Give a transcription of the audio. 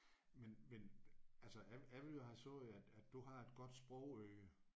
Men men altså jeg jeg ville jo have sagt at at du har et godt sprogøre